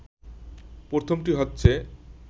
প্রথমটি হচ্ছে